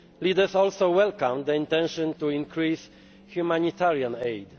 Leaders also welcomed the intention to increase humanitarian